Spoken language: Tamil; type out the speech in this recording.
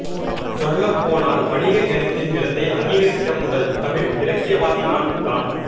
சொல்லப்போனால் வணிக எழுத்தின் இடத்தை அங்கீகரித்த முதல் தமிழ் இலக்கியவாதி நான்தான்